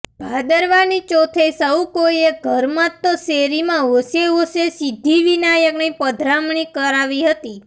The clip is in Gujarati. ભાદરવાની ચોથે સહુ કોઈએ ઘરમાં તો શેરીમાં હોશે હોશે સિદ્ધિ વિનાયકની પધરામણી કરાવી હતી